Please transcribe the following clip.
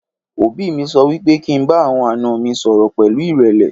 òbí mí sọ wípé kí n bá àwọn àná mi sọrọ pẹlu irẹlẹ